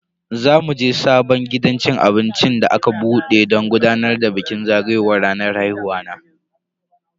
Za muje sabon gidan cin abinci da aka bude don gudanar da bikin zagayowar ranar haihuwa na.